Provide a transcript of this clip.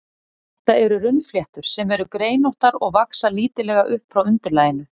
Þetta eru runnfléttur, sem eru greinóttar og vaxa lítillega upp frá undirlaginu.